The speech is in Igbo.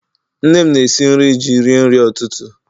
Nne m na-esi nri ji rie nri ụtụtụ